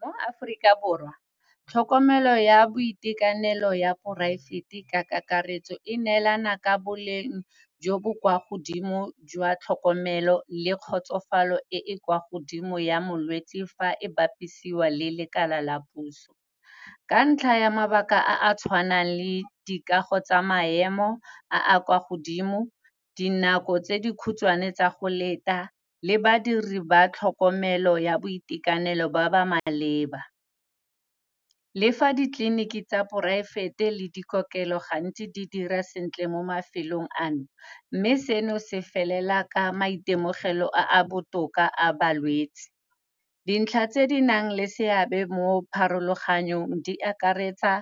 Mo Aforika Borwa tlhokomelo ya boitekanelo ya private-e ka kakaretso e neelana ka boleng jo bo kwa godimo jwa tlhokomelo le kgotsofalo e kwa godimo ya molwetsi fa e bapisiwa le lekala la puso. Ka ntlha ya mabaka a a tshwanang le dikago tsa maemo a a kwa godimo, dinako tse dikhutshwane tsa go leta le badiri ba tlhokomelo ya boitekanelo ba ba maleba. Lefa ditleliniki tsa private-e le dikokelelo gantsi di dira sentle mo mafelong ano. Mme seno, se felela ka maitemogelo a a botoka a balwetsi. Dintlha tse di nang le seabe mo pharologanong di akaretsa